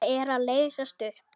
Það er að leysast upp.